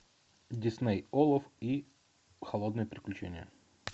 дисней олаф и холодное приключение